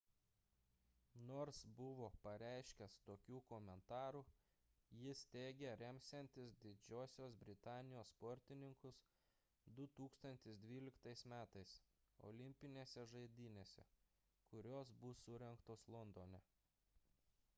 nors buvo pareiškęs tokių komentarų jis teigė remsiantis didžiosios britanijos sportininkus 2012 m olimpinėse žaidynėse kurios bus surengtos londone